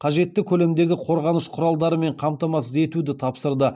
қажетті көлемдегі қорғаныш құралдарымен қамтамасыз етуді тапсырды